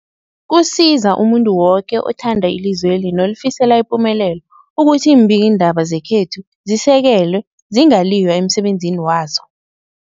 Kusiza umuntu woke othanda ilizweli nolifisela ipumelelo ukuthi iimbikiindaba zekhethu zisekelwe, zingaliywa emsebenzini wazo.